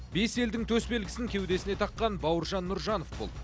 бес елдің төс белгісін кеудесіне таққан бауыржан нұржанов бұл